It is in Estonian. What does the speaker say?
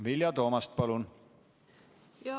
Vilja Toomast, palun!